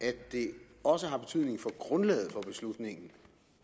det også har betydning for grundlaget for beslutningen